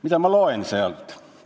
Mida ma loen sealt?